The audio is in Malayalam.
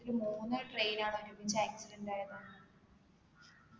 ഇതില് മൂന്നു train കളാ ഒരുമിച്ച് accident ആയതാന്ന്